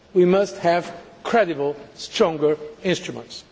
We must have credible, stronger instruments.